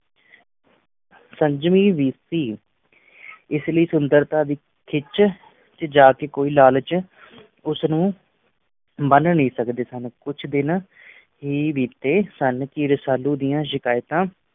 ਸੰਜਮੀ ਵੀ ਸੀ ਇਸ ਲਈ ਸੁੰਦਰਤਾ ਦੀ ਖਿੱਚ ਕੋਈ ਲਾਲਚ ਉਸ ਨੂੰ ਬੰਨ੍ਹ ਨਹੀਂ ਸਕਦੇ ਸਨ, ਕੁਝ ਦਿਨ ਹੀ ਬੀਤੇ ਸਨ ਕਿ ਰਸਾਲੂ ਦੀਆਂ ਸ਼ਿਕਾਇਤਾਂ